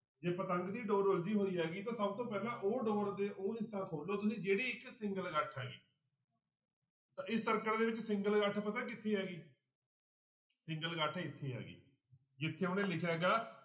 ਜੇ ਪਤੰਗ ਦੀ ਡੋਰ ਉਲਝੀ ਹੋਈ ਹੈਗੀ ਤਾਂ ਸਭ ਤੋਂ ਪਹਿਲਾਂ ਉਹ ਡੋਰ ਦੇ ਉਹ ਹਿੱਸਾ ਖੋਲੋ ਤੁਸੀਂ ਜਿਹੜੀ ਇੱਕ single ਗੱਠ ਹੈਗੀ ਤਾਂ ਇਸ circuit ਦੇ ਵਿੱਚ single ਗੱਠ ਪਤਾ ਕਿੱਥੇ ਹੈਗੀ single ਗੱਠ ਇੱਥੇ ਹੈਗੀ ਜਿੱਥੇ ਉਹਨੇ ਲਿਖਿਆ ਗਾ